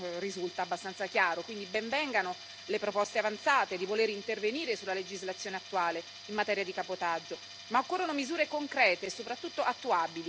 Quindi, ben vengano le proposte avanzate di voler intervenire sulla legislazione attuale in materia di cabotaggio, ma occorrono misure concrete, soprattutto attuabili, che non siano solo sulla carta.